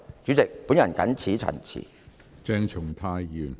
主席，我謹此陳辭。